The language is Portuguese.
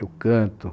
Eu canto.